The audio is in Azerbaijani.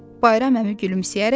Bayram əmi gülümsəyərək dedi: